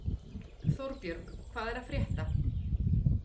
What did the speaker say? Þórbjörg, hvað er að frétta?